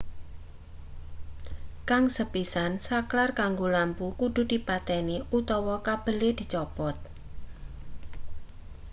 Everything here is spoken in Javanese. kang sepisan saklar kanggo lampu kudu dipateni utawa kabele dicopot